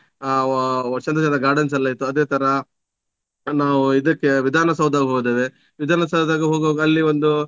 ಆ ಚಂದ ಚಂದದ gardens ಎಲ್ಲ ಇತ್ತು. ಅದೇ ತರ ನಾವು ಇದಕ್ಕೇ ವಿಧಾನ ಸೌದ ಹೋಗಿದ್ದೇವೆ ವಿಧಾನ ಸೌದಗೆ ಹೋಗುವಾಗ ಅಲ್ಲಿ ಒಂದು